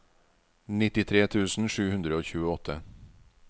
nittitre tusen sju hundre og tjueåtte